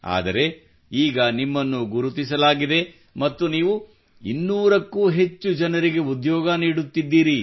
ಆದರೆ ಈಗ ನಿಮ್ಮನ್ನು ಗುರುತಿಸಲಾಗಿದೆ ಮತ್ತು ನೀವು 200 ಕ್ಕೂ ಹೆಚ್ಚು ಜನರಿಗೆ ಉದ್ಯೋಗ ನೀಡುತ್ತಿದ್ದೀರಿ